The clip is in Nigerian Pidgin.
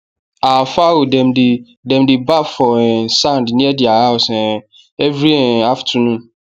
our fowl demdey demdey baff for um sand near their house um every um afternoon